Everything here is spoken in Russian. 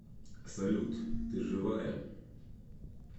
салют ты живая